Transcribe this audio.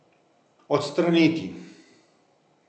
Odstraniti.